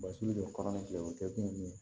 Basi don kalanni kɛ o kɛ kun ye min ye